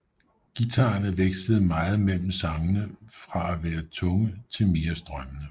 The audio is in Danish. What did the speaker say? Guitarerne vekslede meget mellem sangene fra at være tunge til mere strømmende